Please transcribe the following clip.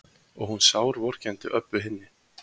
Og hún sárvorkenndi Öbbu hinni.